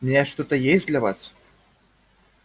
у меня что-то есть для вас